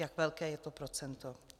Jak velké je to procento?